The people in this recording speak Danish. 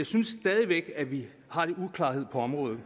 synes stadig væk at vi har lidt uklarhed på området